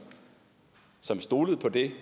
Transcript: som stolede på det